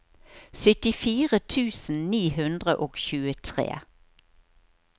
syttifire tusen ni hundre og tjuetre